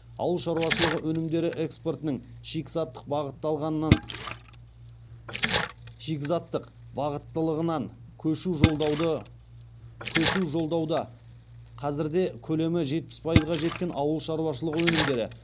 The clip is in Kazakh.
ауыл шаруашылығы өнімдері экспортының шикізаттық бағыттылығынан көшу жолдауда қазірде көлемі жетпіс пайызға жеткен ауыл шаруашылығы өнімдері